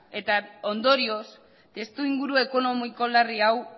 eta ondorioz testuinguru ekonomiko larri hau